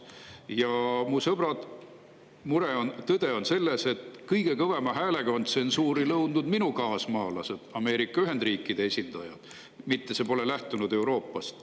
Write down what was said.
Tõde, mu sõbrad, on tegelikult selles, et kõige kõvema häälega on tsensuuri nõudnud minu kaasmaalased,, mitte see pole lähtunud Euroopast.